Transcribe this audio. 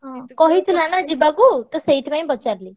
ହଁ କହିଥିଲା ନା ଯିବାକୁ ତ ସେଇଥିପାଇଁ ପଚାରିଲି।